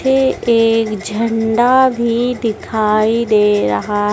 यह एक झंडा भी दिखाई दे रहा--